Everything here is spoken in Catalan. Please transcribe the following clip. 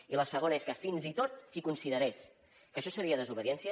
i la segona és que fins i tot qui considerés que això seria desobediència